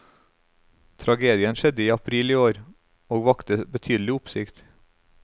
Tragedien skjedde i april i år, og vakte betydelig oppsikt.